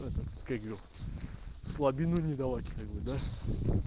слабину не давай